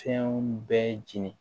Fɛn bɛɛ jeni